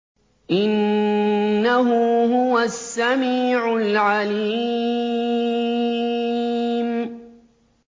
إِنَّهُ هُوَ السَّمِيعُ الْعَلِيمُ